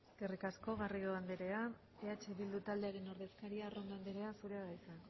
eskerrik asko garrido anderea eh bildu taldearen ordezkaria arrondo anderea zurea da hitza